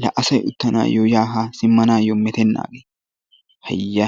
La asay uttanayo ya haa simmanayyo metenaage. Hayya!!